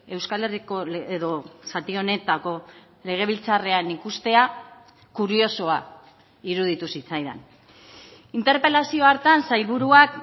euskal herriko edo zati honetako legebiltzarrean ikustea kuriosoa iruditu zitzaidan interpelazio hartan sailburuak